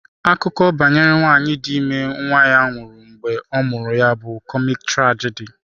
Akụkọ banyere nwanyị dị ime nwa ya nwụnahụrụ mgbe a mụrụ ya bụ kọmik trajidi.